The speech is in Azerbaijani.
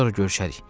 Sonra görüşərik.